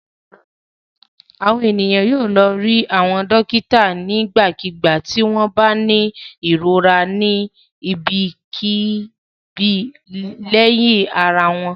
Àwọn ènìyàn yóò lọ rí àwọn dọ́kítá nígbàkigbà tí wọ́n bá ní ìrora ni ibikíbi lẹ́yà ara wọn.